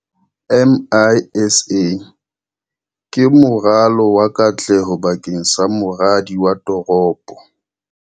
MISA ke moralo wa katleho bakeng sa moradi wa toropo.